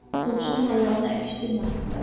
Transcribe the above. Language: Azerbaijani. dovşan balalarını əkişdirməsinlər.